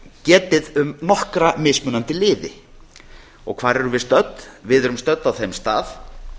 getið um nokkra mismunandi liði hvar erum við stödd við erum stödd á þeim stað